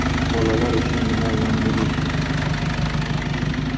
Bolalar uchun nima yangilik?